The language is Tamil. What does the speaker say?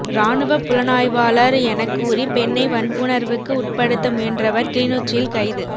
இராணுவப் புலனாய்வாளர் எனக் கூறி பெண்ணை வன்புணர்வுக்கு உட்படுத்த முயன்றவர் கிளிநொச்சியில் கைது